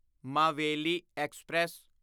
Maveli express